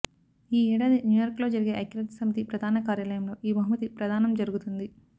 ఈ ఏడాది న్యూయార్క్లో జరిగే ఐక్యరాజ్యసమితి ప్రధానకార్యాలయంలో ఈ బహుమతి ప్రదానం జరుగుతుంది